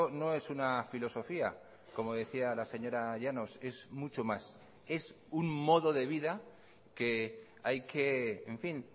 no es una filosofía como decía la señora llanos es mucho más es un modo de vida que hay que en fin